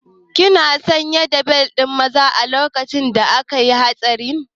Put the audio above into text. Kina sanye da bel ɗin zama a lokacin da akayi hatsarin?